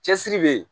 Cɛsiri bɛ yen